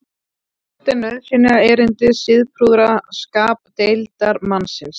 hvert er nauðsynjaerindi siðprúða skapdeildarmannsins